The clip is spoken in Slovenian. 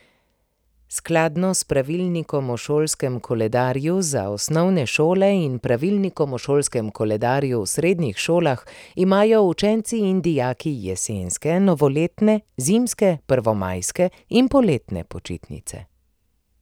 Skladno s pravilnikom o šolskem koledarju za osnovne šole in pravilnikom o šolskem koledarju v srednjih šolah imajo učenci in dijaki jesenske, novoletne, zimske, prvomajske in poletne počitnice.